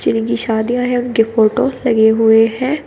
जिनकी शादियां हैं उनकी फोटो लगे हुए हैं।